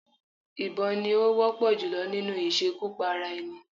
Ìbọn ni ó wọ́pọ̀ jùlọ nínú ìṣekúpara-ẹni.